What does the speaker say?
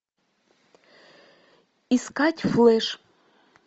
искать флэш